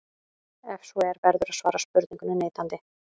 Ef svo er verður að svara spurningunni neitandi.